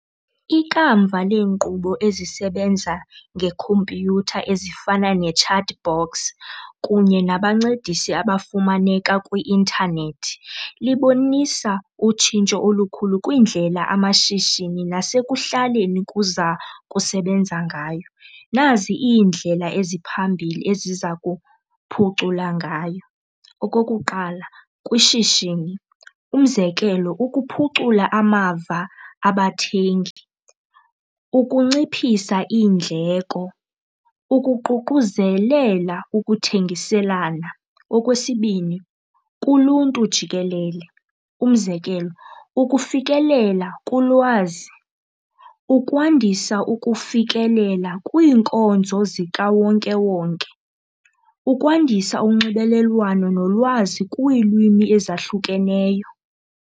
Ikamva leenkqubo ezisebenza ngekhompyutha ezifana ne-chat box kunye nabancedisi abafumaneka kwi-intanethi libonisa utshintsho olukhulu kwiindlela amashishini nasekuhlaleni kuza kusebenza ngayo. Nazi iindlela eziphambili eziza kuphucula ngayo. Okokuqala, kwishishini. Umzekelo ukuphucula amava abathengi, ukunciphisa iindleko, ukuququzelela ukuthengiselana. Okwesibini, kuluntu jikelele. Umzekelo ukufikelela kulwazi, ukwandisa ukufikelela kwiinkonzo zikawonkewonke, ukwandisa unxibelelwano nolwazi kwiilwimi ezahlukeneyo.